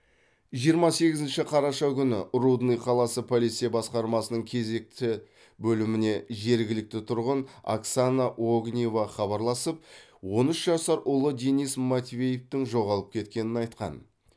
жиырма сегізінші қараша күні рудный қаласы полиция басқармасының кезекті бөліміне жергілікті тұрғын оксана огнева хабарласып он үш жасар ұлы денис матвеевтің жоғалып кеткенін айтқан